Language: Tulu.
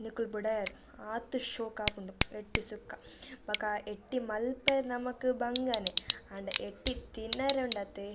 ನಿಕುಲು ಬುಡಯರ್ ಆತ್ ಶೋಕಾಪುಂಡು ಎಟ್ಟಿ ಸುಕ್ಕ ಬೊಕ ಎಟ್ಟಿ ಮಲ್ಪರೆ ನಮಕ್ ಬಂಗನೆ ಆಂಡ ಎಟ್ಟಿ ತಿನರೆ ಉಂಡತೆ.